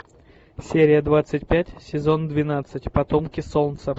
серия двадцать пять сезон двенадцать потомки солнца